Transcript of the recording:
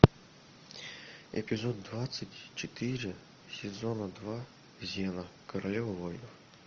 эпизод двадцать четыре сезона два зена королева воинов